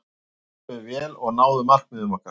Við spiluðum vel og náðum markmiðum okkar.